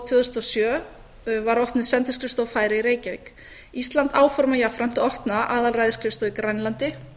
tvö þúsund og sjö var opnuð sendiskrifstofa færeyja í reykjavík ísland áformar jafnframt að opna aðalræðisskrifstofu í grænlandi